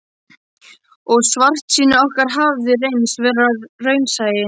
Og svartsýni okkar hafði reynst vera raunsæi.